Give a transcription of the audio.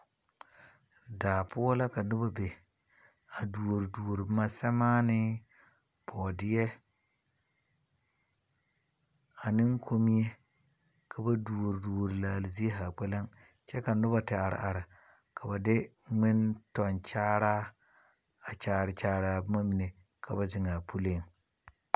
Daa poʊ la ka noba be. A duore duore boma. Samaani, boɔdie, ani kommie. Ka ba duore duore laali zie zaa kpeleŋ. Kyɛ ka noba te are are ka ba de ŋmentɔnkyaraa a kyare kyare a boma mene ka ba zeŋ a puleŋ